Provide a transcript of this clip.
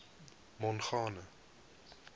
mongane